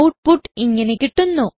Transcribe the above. output ഇങ്ങനെ കിട്ടുന്നു